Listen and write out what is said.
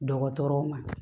Dɔgɔtɔrɔw ma